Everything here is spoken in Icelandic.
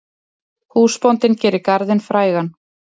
Húsbóndinn gerir garðinn frægan.